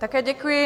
Také děkuji.